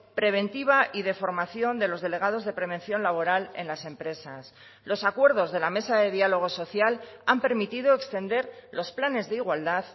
preventiva y de formación de los delegados de prevención laboral en las empresas los acuerdos de la mesa de diálogo social han permitido extender los planes de igualdad